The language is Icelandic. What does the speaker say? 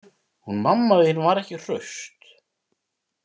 Hún mamma þín var ekki hraust.